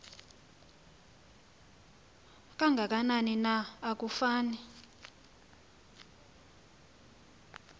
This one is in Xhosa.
kangakanani na akufani